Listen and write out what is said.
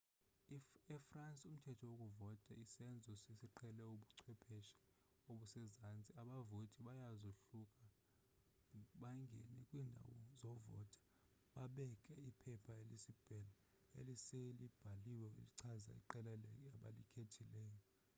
e-france umthetho wokuvota sisenzo esiqhele ubuchwepheshe obusezantsi abavoti bayazohluka bangene kwiindawo zovota babeke iphepha-eliselibhaliwe elichaza iqela abalikhethileyo